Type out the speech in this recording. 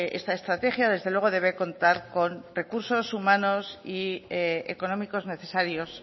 esta estrategia desde luego debe contar con recursos humanos y económicos necesarios